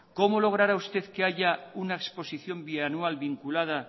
cómo lograra usted que haya una exposición bianual vinculada